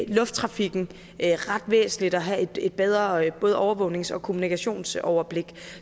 lufttrafikken er det ret væsentligt at have et bedre både overvågnings og kommunikationsoverblik